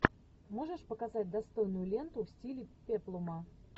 можешь показать достойную ленту в стиле пеплума